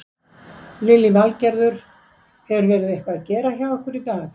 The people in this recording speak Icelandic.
Lillý Valgerður: Hefur verið eitthvað að gera hjá ykkur í dag?